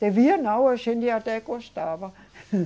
Devia não, a gente até gostava.